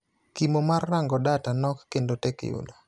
Kimo mar rango data nok kendo tek yudo.